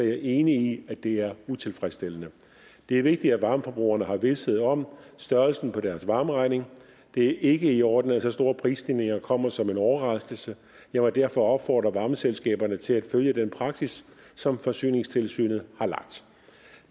jeg enig i at det er utilfredsstillende det er vigtigt at varmeforbrugerne har vished om størrelsen på deres varmeregning det ikke er i orden at så store prisstigninger kommer som en overraskelse jeg vil derfor opfordre varmeselskaberne til at følge den praksis som forsyningstilsynet har lagt